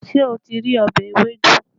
Ṣé o ti rí ọbẹ̀ ewédú?